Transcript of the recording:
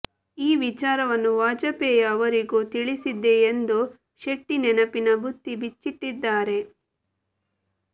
ಈ ವಿಚಾರವನ್ನು ವಾಜಪೇಯಿ ಅವರಿಗೂ ತಿಳಿಸಿದ್ದೆ ಎಂದು ಶೆಟ್ಟಿ ನೆನಪಿನ ಬುತ್ತಿ ಬಿಚ್ಚಿಟ್ಟಿದ್ದಾರೆ